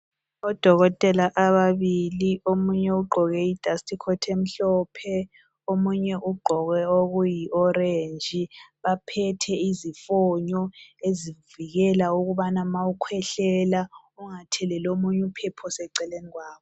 Odokotela ababili omunye ugqoke I dustcoat emhlophe . Omunye ugqoke okuyi orange baphethe izifonyo ezivikela ukubana ma ukhwehlela ungathelelo munyu phepho seceleni kwakho .